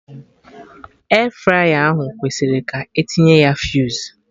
Airfryer ahụ kwesịrị ka etinye ya fuse